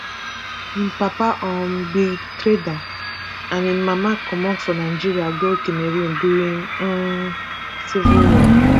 im papa um be trader and im mama comot for nigeria go cameroon during um di civil war